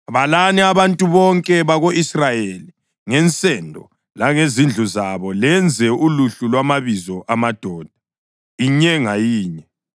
“Balani abantu bonke bako-Israyeli ngensendo langezindlu zabo, lenze uluhlu lwamabizo amadoda, inye ngayinye.